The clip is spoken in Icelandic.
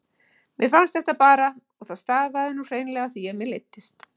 Mér fannst þetta bara og það stafaði nú hreinlega af því að mér leiddist.